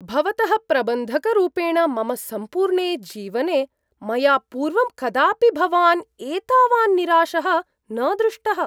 भवतः प्रबन्धकरूपेण मम सम्पूर्णे जीवने, मया पूर्वं कदापि भवान् एतावान् निराशः न दृष्टः।